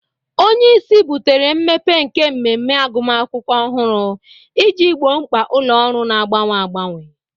Onye isi butere mmepe nke mmemme agụmakwụkwọ ọhụrụ iji gboo mkpa ụlọ ọrụ na-agbanwe agbanwe.